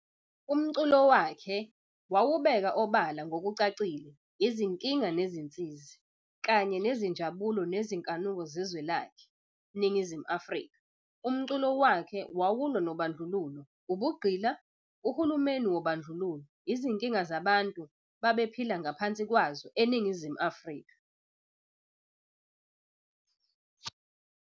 Umculo wakhe wawubeka obala ngokucacile izinkinga nezinsizi, kanye nezinjabulo nezinkanuko zezwe lakhe, Ningizimu Afrika. Umculo wakhe wawulwa nobandlululo, ubugqila, uhulumeni wobadluluo, Izinkinga zabantu babephila ngaphansi kwazo eNingizimu Afrika.